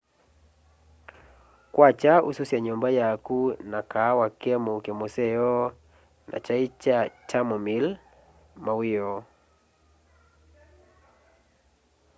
kwakya ususya nyumba yaku na kaawa ke muuke museo na kyai kya chamomile mawioo